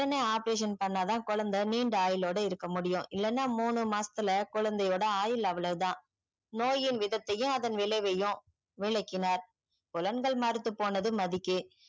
ஒடனே operation பண்ணாத குழந்தை நிண்ட ஆயுள் ஓட இருக்க முடியும் இல்லன்னா முனு மாசத்துல்ல குழந்தை ஓட ஆயுள் அவ்ளோதா நோயின் விதத்தையும் அதன் விளைவையும் விளக்கினார் குழந்தைமறுத்து போனது மதிக்கு